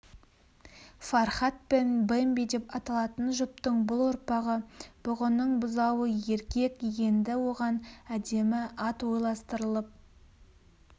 фархат пен бэмби деп аталатын жұптың бұл ұрпағы бұғының бұзауы еркек енді оған әдемі ат ойластырылып